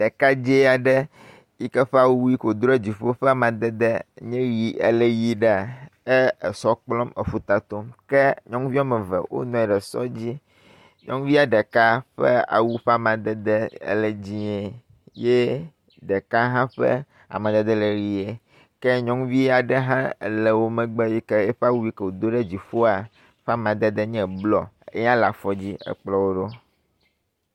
Ɖekadzɛaɖe yike ƒe awuike wodó ɖe dziƒó ƒeamadede nye yi ele yiɖeaa é èsɔkplɔm eƒutatom ke nyɔŋuviɔmeve wónɔnyi ɖe sɔ dzi, nyɔŋuvia ɖeka ƒe awu ƒamadede ele dzĩe yɛ ɖeka hã ƒe amadede le ɣie ke nyɔŋuviaɖe hã ele wó megbe yike eƒeawu yike wodó ɖe dzìƒoa ƒe amadede nye blɔ ya leafɔdzi ekplɔwó ɖó